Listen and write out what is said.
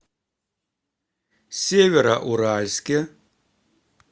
североуральске